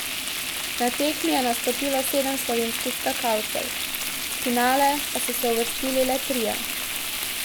Na tekmi je nastopilo sedem slovenskih skakalcev, v finale pa so se uvrstili le trije.